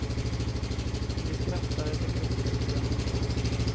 Om de skrattar eller gråter bryr jag mig inte om.